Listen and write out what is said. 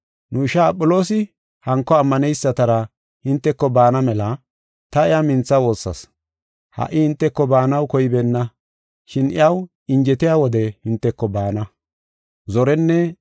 Nu ishaa Aphiloosi hanko ammaneysatara hinteko baana mela ta iya mintha woossas. Ha77i hinteko baanaw koybeenna, shin iyaw injetiya wode hinteko baana.